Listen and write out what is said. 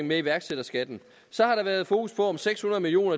med iværksætterskatten så har der været fokus på om seks hundrede million